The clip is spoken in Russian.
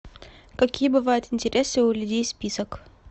какие бывают интересы у людей список